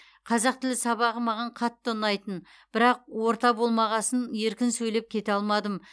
қазақ тілі сабағы маған қатты ұнайтын бірақ орта болмағасын еркін сөйлеп кете алмадым